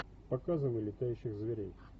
показывай летающих зверей